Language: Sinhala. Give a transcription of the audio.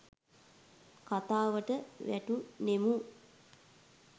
කතාවට වැටුනෙමු.